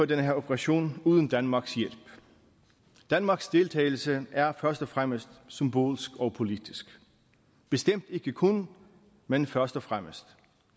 den her operation uden danmarks hjælp danmarks deltagelse er først og fremmest symbolsk og politisk bestemt ikke kun men først og fremmest